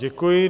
Děkuji.